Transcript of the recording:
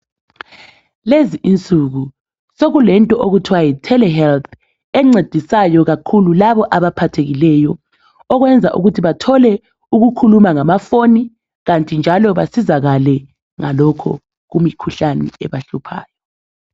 lezi insuku sokulento ukuthiwa yi telehealth encedisayo kakhulu laba abaphathekileyo okwenza ukuthi bathole ukukhuma ngamafoni kanti njalo basizakale ngalokho kwimikhuhlane ebahluphayo